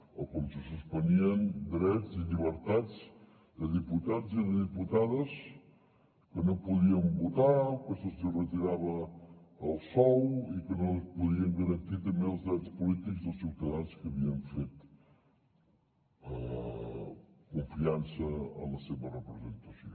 o com se suspenien drets i llibertats de diputats i de diputades que no podien votar o que se’ls retirava el sou i que no es podien garantir també els drets polítics dels ciutadans que havien fet confiança en la seva representació